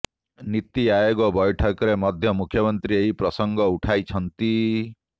ନୀତି ଆୟୋଗ ବୈଠକରେ ମଧ୍ୟ ମୁଖ୍ୟମନ୍ତ୍ରୀ ଏହି ପ୍ରସଙ୍ଗ ଉଠାଇଛନ୍ତି